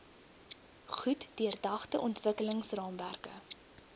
goed deurdagte ontwikkelingsraamwerke